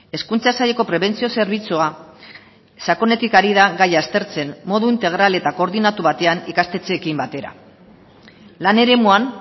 hezkuntza saileko prebentzio zerbitzua sakonetik ari da gaia aztertzen modu integral eta koordinatu batean ikastetxeekin batera lan eremuan